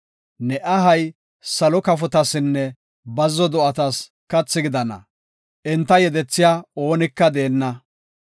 Ne ahay salo kafotasinne bazzo do7atas kathi gidana; enta yedethiya oonika deenna.